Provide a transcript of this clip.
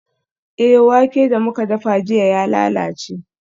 Eh, wake da muka dafa jiya ya lalace.